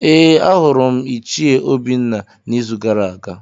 Ee, ahụrụ m Ichie Obinna n’izu gara aga.